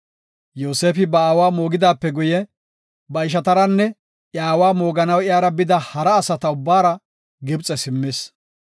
Yoosefi ba aawa moogidaape guye, ba ishataranne iya aawa mooganaw iyara bida hara asata ubbatara Gibxe simmis.